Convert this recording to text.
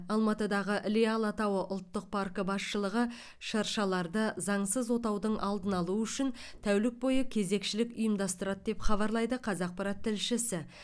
алматыда іле алатауы ұлттық паркі басшылығы шыршаларды заңсыз отаудың алдын алу үшін тәулік бойы кезекшілік ұйымдастырады деп хабарлайды қазақпарат тілшісі